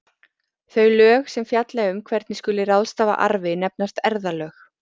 þau lög sem fjalla um hvernig skuli ráðstafa arfi nefnast erfðalög